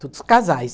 Todos casais.